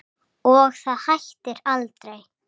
Og það hættir aldrei.